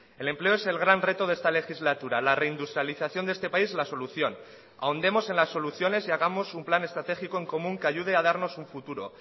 el empleo es el gran reto de esta legislatura la reindustrialización de este país la solución ahondemos en las soluciones y hagamos un plan estratégico en común que ayude a darnos un futuro